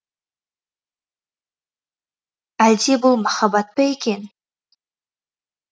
әлде бұл махаббат па екен